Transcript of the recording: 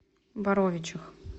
боровичах